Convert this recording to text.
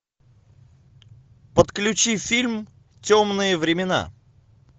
подключи фильм темные времена